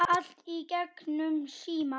Allt í gegnum síma.